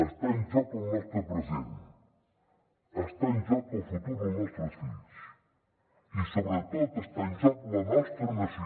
està en joc el nostre present està en joc el futur del nostres fills i sobretot està en joc la nostra nació